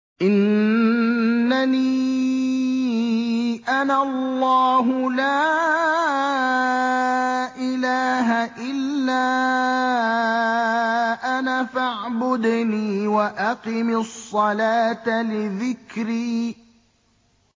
إِنَّنِي أَنَا اللَّهُ لَا إِلَٰهَ إِلَّا أَنَا فَاعْبُدْنِي وَأَقِمِ الصَّلَاةَ لِذِكْرِي